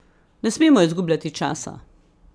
Ne smemo izgubljati časa!